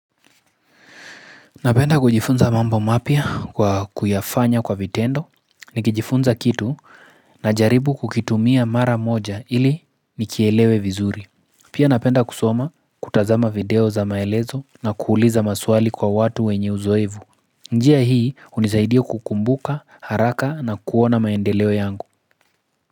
Napenda kujifunza mambo mapya kwa kuyafanya kwa vitendo Nikijifunza kitu najaribu kukitumia mara moja ili nikielewe vizuri Pia napenda kusoma kutazama video za maelezo na kuuliza maswali kwa watu wenye uzoefu njia hii hunisaidia kukumbuka, haraka na kuona maendeleo yangu.